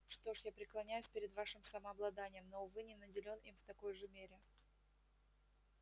что ж я преклоняюсь перед вашим самообладанием но увы не наделён им в такой же мере